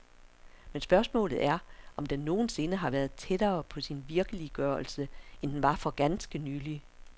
Men spørgsmålet er, om den nogen sinde har været tættere på sin virkeliggørelse, end den var for ganske nylig?